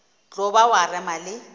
tlo ba wa rema le